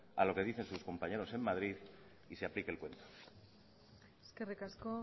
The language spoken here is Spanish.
a lo que dicen sus compañeros en madrid y se aplique el cuento eskerrik asko